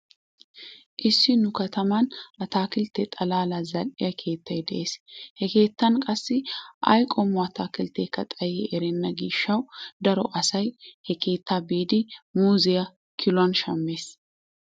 Issi nu kataman ataakiltte xalaalaa zal"iya keettay de'ees. He keettan qassi ay qommo ataakiltteekka xayi erenna gishshawu daro asoy he keettaa biidi muuzziya kiluwan shammees.